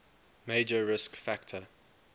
major risk factor